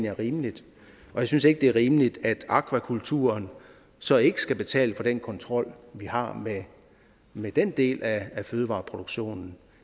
er rimeligt og jeg synes ikke det er rimeligt at akvakulturen så ikke skal betale for den kontrol vi har med den del af fødevareproduktionen